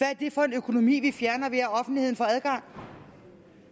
er det for en økonomi vi fjerner ved at offentligheden får adgang